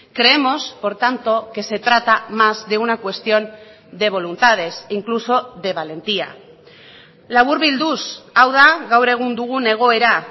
creemos por tanto que se trata más de una cuestión de voluntades incluso de valentía laburbilduz hau da gaur egun dugun egoera